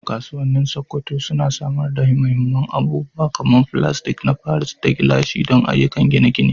Kasuwannin Sokoto suna samar da muhimman abubuwa kamar filasta na paris da gilashin don ayyukan gine-gine.